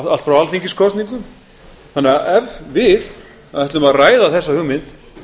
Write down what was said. allt frá alþingiskosningum ef við ætlum að ræða þessa hugmynd